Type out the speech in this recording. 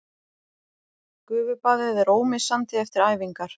Gufubaðið er ómissandi eftir æfingar